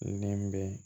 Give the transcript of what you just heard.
Nɛmɛn